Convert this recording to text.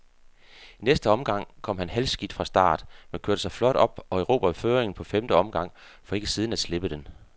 I næste omgang kom han halvskidt fra start, men kørte sig flot op og erobrede føringen på femte omgang, for ikke siden at slippe den.